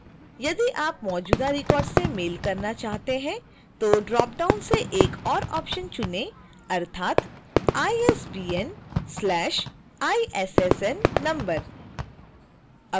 यदि आप मौजूदा रिकॉर्ड्स से मेल करना चाहते हैं तो ड्रॉप डाउन से एक और ऑप्शन चुनें अर्थात isbn/issn number